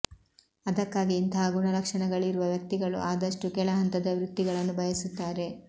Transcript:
ಅದಕ್ಕಾಗಿ ಇಂತಹ ಗುಣಲಕ್ಷ ಣಗಳಿರುವ ವ್ಯಕ್ತಿಗಳು ಆದಷ್ಟೂ ಕೆಳಹಂತದ ವೃತ್ತಿಗಳನ್ನು ಬಯಸುತ್ತಾರೆ